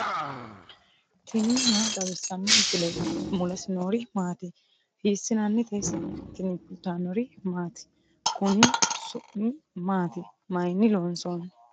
tini maa xawissanno misileeti ? mulese noori maati ? hiissinannite ise ? tini kultannori maati? Konni su'mi maatti? Mayiinni loonsoonni?